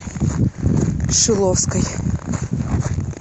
шиловской